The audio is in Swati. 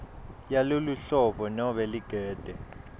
yaloluhlobo nobe ligede